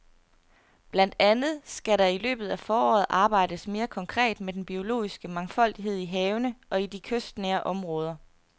Blandt andet skal der i løbet af foråret arbejdes mere konkret med den biologiske mangfoldighed i havene og i de kystnære områder.